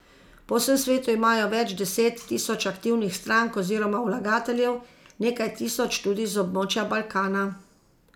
Po vsem svetu imajo več deset tisoč aktivnih strank oziroma vlagateljev, nekaj tisoč tudi z območja Balkana.